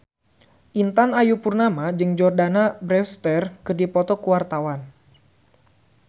Intan Ayu Purnama jeung Jordana Brewster keur dipoto ku wartawan